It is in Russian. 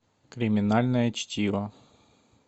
криминальное чтиво